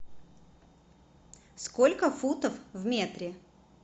сколько футов в метре